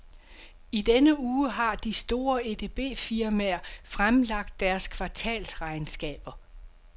I denne uge har de store edbfirmaer fremlagt deres kvartalsregnskaber.